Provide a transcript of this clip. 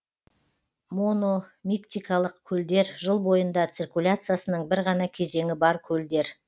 мономиктикалық көлдер жыл бойында циркуляциясының бір ғана кезеңі бар көлдер